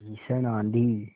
भीषण आँधी